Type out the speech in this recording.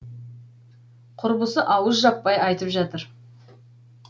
құрбысы ауыз жаппай айтып жатыр